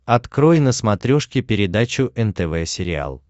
открой на смотрешке передачу нтв сериал